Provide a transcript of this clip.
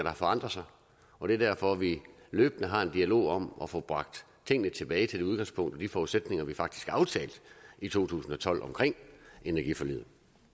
har forandret sig og det er derfor vi løbende har en dialog om at få bragt tingene tilbage til det udgangspunkt og de forudsætninger vi faktisk aftalte i to tusind og tolv omkring energiforliget